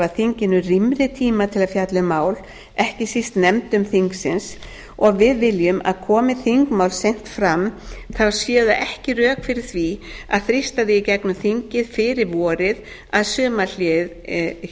þinginu rýmri tíma til að fjalla um mál ekki síst nefndum þingsins og við viljum að komi þingmál seint fram séu það ekki rök fyrir því að þrýsta því í gegnum þingið fyrir vorið að